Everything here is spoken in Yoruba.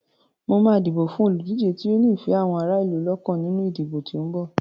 Mo máa dìbò fún olùdíje tó ní ìfẹ́ àwọn ará ìlú lọ́kàn nínú ìdìbò tí ó ń bọ̀.